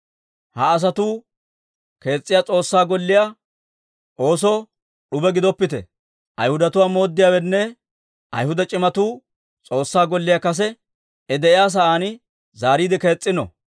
Ha asatuu kees's'iyaa S'oossaa Golliyaa oosoo d'ube gidoppite. Ayhudatuwaa mooddiyaawenne Ayhuda c'imatuu S'oossaa Golliyaa kase I de'iyaa sa'aan zaariide kees's'ino.